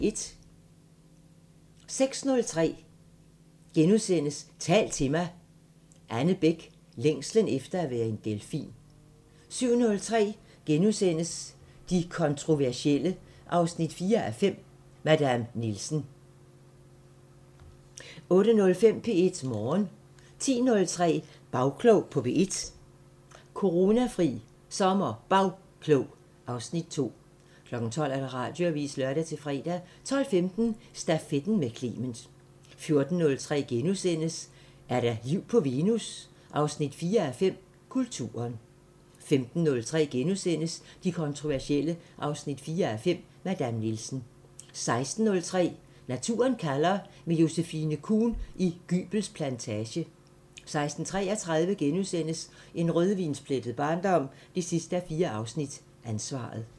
06:03: Tal til mig – Anne Bech: Længslen efter at være en delfin * 07:03: De kontroversielle 4:5 – Madame Nielsen * 08:05: P1 Morgen 10:03: Bagklog på P1: Coronafri SommerBagklog (Afs. 2) 12:00: Radioavisen (lør-fre) 12:15: Stafetten med Clement 14:03: Er der liv på Venus? 4:5 – Kulturen * 15:03: De kontroversielle 4:5 – Madame Nielsen * 16:03: Naturen kalder – med Josephine Kuhn i Gybels Plantage 16:33: En rødvinsplettet barndom 4:4 – Ansvaret *